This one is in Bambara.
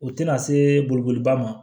O tɛna se bolokoli ba ma